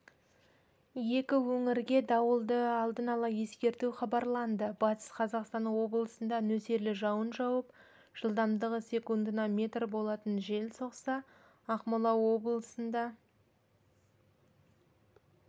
екі өңірге дауылды алдын ала ескерту хабарланды батыс қазақстан облысында нөсерлі жауын жауып жылдамдығы секундына метр болатын жел соқса ақмола облысында